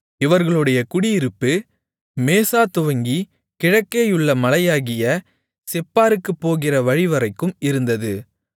இவர்களுடைய குடியிருப்பு மேசாதுவங்கி கிழக்கேயுள்ள மலையாகிய செப்பாருக்குப் போகிற வழிவரைக்கும் இருந்தது